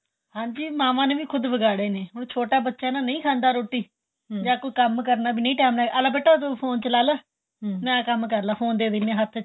ਹਾਂਜੀ ਮਾਵਾਂ ਨੇ ਵੀ ਖੁੱਦ ਵਿਗਾੜੇ ਨੇ ਉਹ ਛੋਟਾ ਬੱਚਾ ਤਾਂ ਨਹੀਂ ਖਾਦਾਂ ਰੋਟੀ ਜਾਂ ਕੋਈ ਕੰਮ ਕਰਨਾ ਨਹੀਂ time ਆਲਾ ਬੇਟਾ ਤੂੰ ਫੋਨ ਚਲਾ ਲੈ ਨਾਲੋਂ ਕੰਮ ਕਰਲੇ ਫੋਨ ਦੇ ਦਿੰਨੇ ਹਾਂ ਹੱਥ ਚ